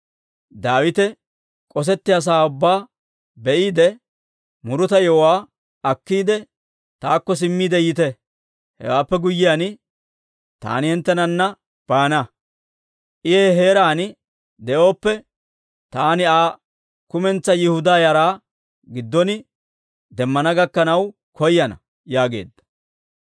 Daawite k'osettiyaa sa'aa ubbaa be'iide, muruta yewuwaa akkiide, taakko simmiide yiite. Hewaappe guyyiyaan, taani hinttenana baana; I he heeraan de'oppe, taani Aa kumentsaa Yihudaa yaraa giddon demmana gakkanaw koyana» yaageedda.